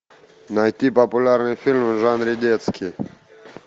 найти популярный фильм в жанре детский